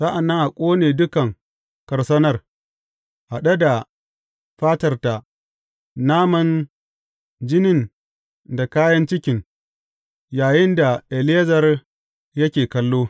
Sa’an nan a ƙone dukan karsanar, haɗe da fatarta, naman, jinin da kayan cikin, yayinda Eleyazar yake kallo.